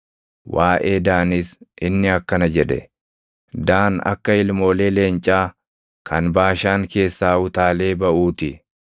Waaʼee Daanis inni akkana jedhe: “Daan akka ilmoolee leencaa kan Baashaan keessaa utaalee baʼuu ti.”